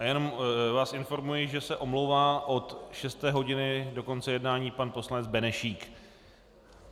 A jenom vás informuji, že se omlouvá od šesté hodiny do konce jednání pan poslanec Benešík.